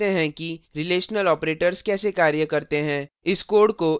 इस प्रकार हम देखते हैं कि relational operators कैसे कार्य करते हैं